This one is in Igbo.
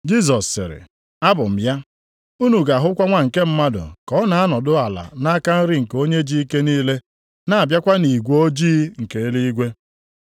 Jisọs sịrị, “Abụ m ya, unu ga-ahụkwa Nwa nke Mmadụ ka ọ na-anọdụ ala nʼaka nri nke Onye ji ike niile, na-abịakwa nʼigwe ojii nke eluigwe.”